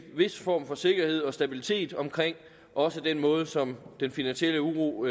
vis form for sikkerhed og stabilitet omkring også den måde som den finansielle uro